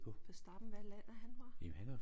Verstappen hvad land er han fra?